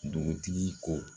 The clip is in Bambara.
Dugutigi ko